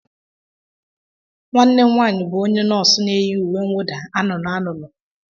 Nwanne m nwaanyị bụ onye nọọsụ na-eyi uwe mwụda anụnụ anụnụ